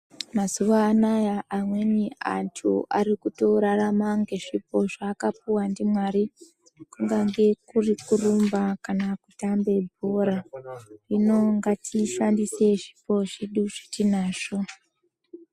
Mazuva anaya amweni antu ari kuto rarama nge zvipo zva aka puwa ndi Mwari kungange kuri kurumba kana ku tambe bhora hino ngati shandise zvipo zvedu zvetinazvo.